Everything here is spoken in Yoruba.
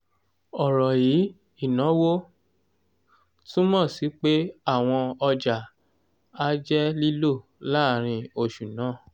ọ̀rọ̀ yíì "ìnáwó" túmọ̀ sí pé àwọn ọjà á jẹ́ lílò láàárín oṣù náà